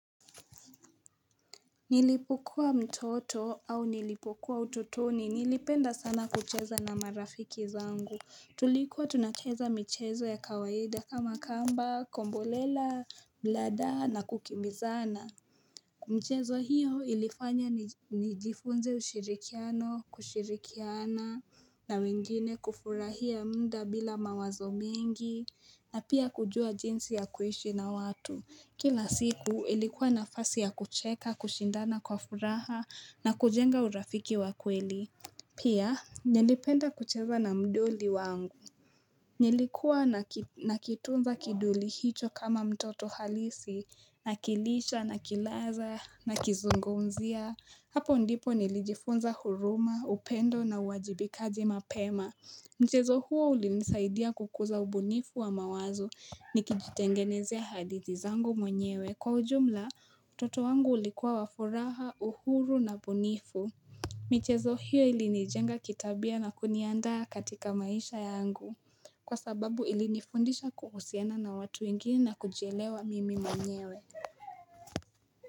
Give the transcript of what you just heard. Nilipokuwa mtoto au nilipokuwa utotoni nilipenda sana kucheza na marafiki zangu. Tulikuwa tunacheza michezo ya kawaida kama kamba, kombolela, blada na kukimbizana michezo hiyo ilifanya nijifunze ushirikiano, kushirikiana na wengine kufurahia muda bila mawazo mengi na pia kujua jinsi ya kuishi na watu. Kila siku ilikuwa nafasi ya kucheka, kushindana kwa furaha, na kujenga urafiki wa kweli. Pia, nilipenda kucheza na mdoli wangu. Nilikuwa nakitunza kidoli hicho kama mtoto halisi, nakilisha, nakilaza, nakizungumzia. Hapo ndipo nilijifunza huruma, upendo na uwajibikaji mapema. Mchezo huo ulinisaidia kukuza ubunifu wa mawazo nikijitengenezea hadithi zangu mwenyewe. Kwa ujumla, utoto wangu ulikuwa wafuraha, uhuru na bunifu. Michezo huo ilinijenga kitabia na kuniandaa katika maisha yangu. Kwa sababu ilinifundisha kuhusiana na watu wengine na kujielewa mimi mwenyewe.